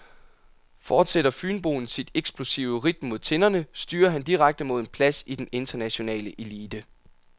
Fortsætter fynboen sit eksplosive ridt mod tinderne, styrer han direkte mod en plads i den internationale elite.